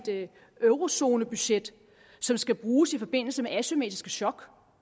eurozonebudget som skal bruges i forbindelse med asymmetriske chok